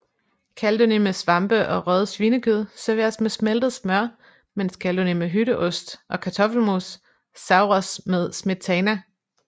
Kalduny med svampe og røget svinekød serveres med smeltet smør mens kalduny med hytteost og kartoffelmos servres med smetana